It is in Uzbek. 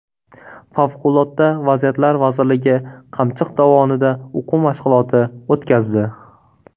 Favqulodda vaziyatlar vazirligi Qamchiq dovonida o‘quv mashg‘uloti o‘tkazdi .